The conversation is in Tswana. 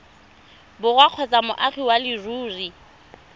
borwa kgotsa moagi wa leruri